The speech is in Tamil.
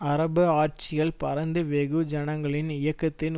அரபு ஆட்சிகள் பரந்த வெகு ஜனங்களின் இயக்கத்தின்